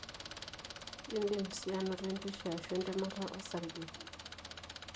Indim si anoto empisha ashu entemata osarge.